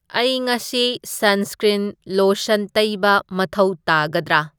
ꯑꯩ ꯉꯥꯁꯤ sunscreen lotion ꯇꯩꯕ ꯃꯊꯧ ꯇꯥꯒꯗꯔꯥ